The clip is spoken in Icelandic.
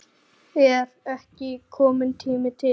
Er ekki kominn tími til?